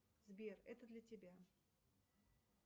сбер это для тебя